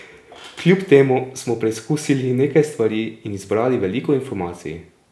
Kljub temu smo preizkusili nekaj stvari in zbrali veliko informacij.